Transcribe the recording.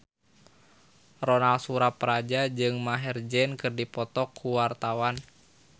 Ronal Surapradja jeung Maher Zein keur dipoto ku wartawan